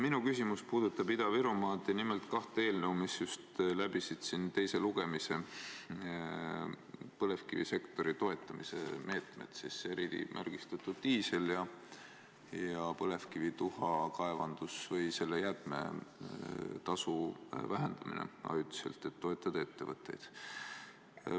Minu küsimus puudutab Ida-Virumaad ja nimelt kahte eelnõu, mis just läbisid siin teise lugemise, ning põlevkivisektori toetamise meetmeid: erimärgistatud diisel ja põlevkivituha jäätmetasu vähendamine ajutiselt, et toetada ettevõtteid.